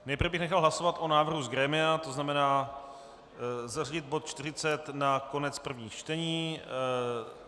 Nejprve bych nechal hlasovat o návrhu z grémia, to znamená zařadit bod 40 na konec prvních čtení.